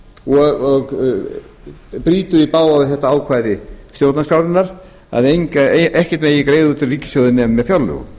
og brýtur í bága við þetta ákvæði stjórnarskrárinnar að ekkert megi greiða út úr ríkissjóði nema með fjárlögum